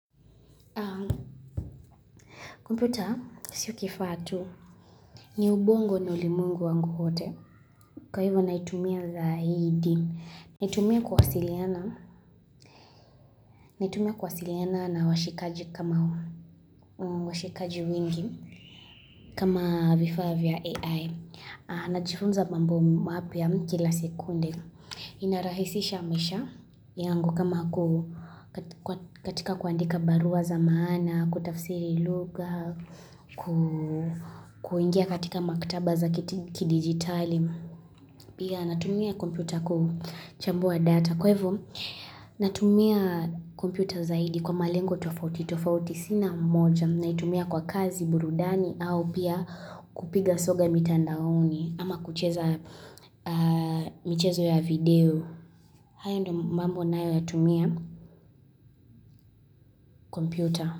Kompyuta sio kifaa tu ni ubongo na ulimwengu wangu wote. Kwa hivyo naitumia zaidi. Naitumia kuwasiliana naitumia kuwasiliana na washikaji wengi kama vifaa vya AI. Najifunza mambo mapya kila sekunde inarahisisha maisha yangu kama katika kuandika barua za maana Kutafsiri lugha kuingia katika maktaba za kidigitali Pia natumia kompyuta kuchambua data Kwa hivyo natumia kompyuta zaidi kwa malengo tofauti tofauti sina moja naitumia kwa kazi burudani au pia kupiga soga mitandaoni ama kucheza michezo ya video haya ndo mambo nayoyatumia kompyuta.